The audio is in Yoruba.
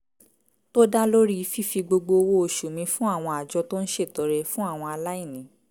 tó dá lórí fífi gbogbo owó oṣù mi fún àwọn àjọ tó ń ṣètọrẹ fún àwọn aláìní